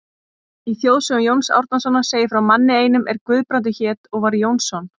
Í þjóðsögum Jóns Árnasonar segir frá manni einum er Guðbrandur hét og var Jónsson.